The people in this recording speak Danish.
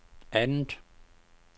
andet